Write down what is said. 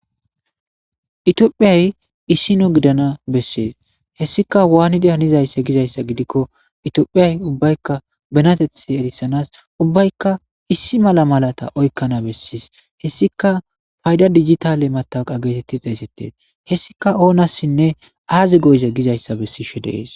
Itiophiyay issi no gidana bessees hessika waanidi hanizayssa gizayssa gidikko itiophiyay ubbaykka benatethe erissanas ubbaykka issi mala malata oykkana bessies hessika payda digitale mataq geetetti xeesettes hessika oonassinne aazi goyza gizayssa bessishe deees